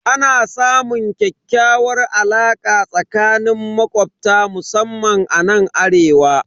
Ana samun ƙyakkyawar alaka tsakanin makobta musamman anan arewa.